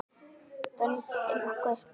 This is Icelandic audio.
Vöndum okkur.